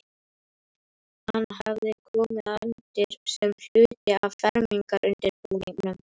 Hann hafði komið undir sem hluti af fermingarundirbúningnum.